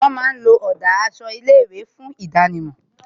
Wón máa ń lo ọ̀dà aṣọ ilé ìwé láti fi hàn